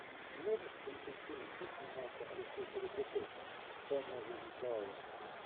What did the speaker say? можешь включить фильм где снимался алексей серебряков тайная жизнь коалы